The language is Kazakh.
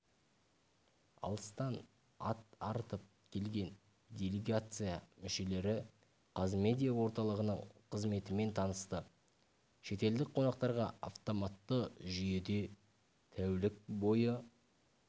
алыстан ат арытып келген делегация мүшелері қазмедиа орталығының қызметімен танысты шетелдік қонақтарға автоматты жүйеде тәулік бойы